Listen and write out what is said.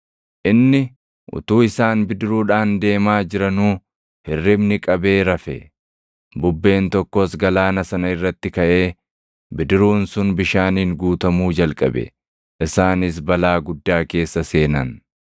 Inni utuu isaan bidiruudhaan deemaa jiranuu hirribni qabee rafe. Bubbeen tokkos galaana sana irratti kaʼee, bidiruun sun bishaaniin guutamuu jalqabe; isaanis balaa guddaa keessa seenan.